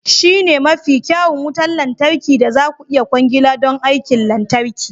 Shi ne mafi kyawun wutar lantarki da za ku iya kwangila don aikin lantarki.